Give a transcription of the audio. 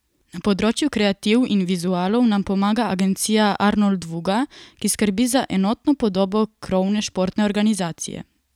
Na področju kreativ in vizualov nam pomaga agencija Arnoldvuga, ki skrbi za enotno podobo krovne športne organizacije.